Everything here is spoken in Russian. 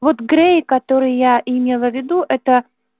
вот грей который я имела в виду это